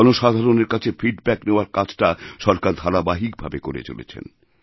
জনসাধারণের কাছে ফিডব্যাক নেওয়ার কাজটা সরকার ধারাবাহিক ভাবে করে চলেছেন